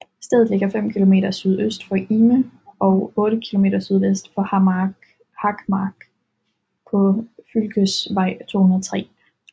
Stedet ligger 5 km sydøst for Ime og 8 km sydvest for Harkmark på fylkesvej 203